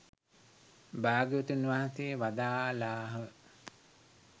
භාග්‍යවතුන් වහන්සේ වදාළාහ.